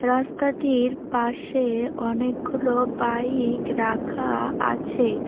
রাস্তাটির পাশে অনেকগুলো বাইক রাখা আছে।